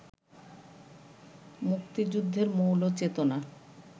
মুক্তিযুদ্ধের মৌল চেতনা